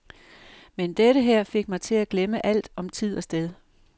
Men dette her fik mig til at glemme alt om tid og sted.